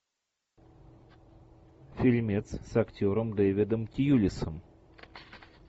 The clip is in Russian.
фильмец с актером дэвидом тьюлисом